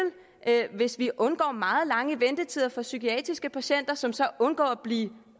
hvis vi undgår meget lange ventetider for psykiatriske patienter som så undgår at blive